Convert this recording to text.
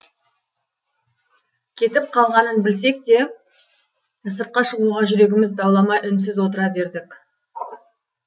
кетіп қалғанын білсек те сыртқа шығуға жүрегіміз дауаламай үнсіз отыра бердік